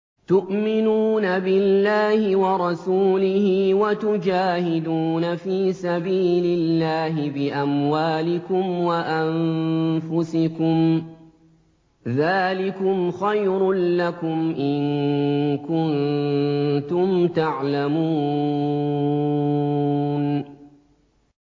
تُؤْمِنُونَ بِاللَّهِ وَرَسُولِهِ وَتُجَاهِدُونَ فِي سَبِيلِ اللَّهِ بِأَمْوَالِكُمْ وَأَنفُسِكُمْ ۚ ذَٰلِكُمْ خَيْرٌ لَّكُمْ إِن كُنتُمْ تَعْلَمُونَ